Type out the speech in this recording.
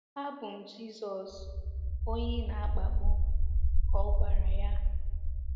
“ Abụ m Jizọs, onye ị na-akpagbu, ka ọ gwara ya.